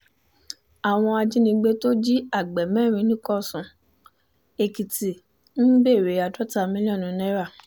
àwọn ajínigbé tó jí agbè mẹ́rin nìkòsùn-èkìtì ń béèrè àádọ́ta mílíọ̀nù náírà